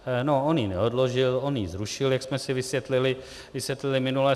No, on ji neodložil, on ji zrušil, jak jsme si vysvětlili minule.